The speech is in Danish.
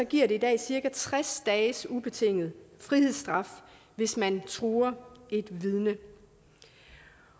giver det i dag cirka tres dages ubetinget frihedsstraf hvis man truer et vidne